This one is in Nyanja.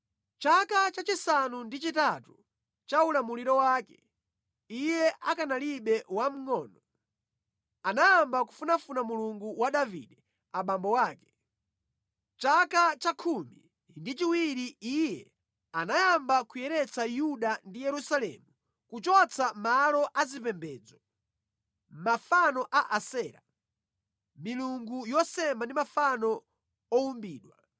Mʼchaka chachisanu ndi chitatu cha ulamuliro wake, iye akanalibe wamngʼono, anayamba kufunafuna Mulungu wa Davide abambo ake. Mʼchaka cha khumi ndi chiwiri iye anayamba kuyeretsa Yuda ndi Yerusalemu kuchotsa malo azipembedzo, mafano a Asera, milungu yosema ndi mafano owumbidwa.